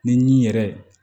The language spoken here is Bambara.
Ni yɛrɛ